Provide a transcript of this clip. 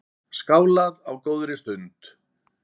Skálað á góðri stund.